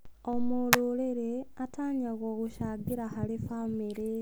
O mũrũrĩrĩ atanyagwo gũcangĩra harĩ bamĩrĩ.